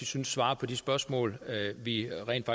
synes svarer på de spørgsmål vi rent